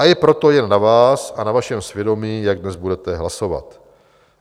A je proto jen na vás a na vašem svědomí, jak dnes budete hlasovat.